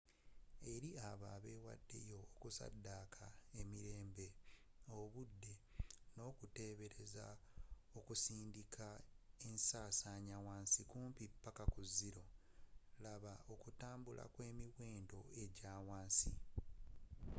eri abo abeewaddeyo okusaddaaka emirembe obudde n'okuteeberezebwa okusindika ensaasaanya wansi kumpi paka ku zeeero laba okutambula kwemiwendo ejaawansi